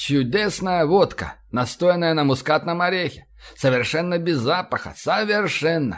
чудесная водка настоянная на мускатном орехе совершенно без запаха совершенно